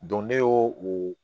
ne y'o o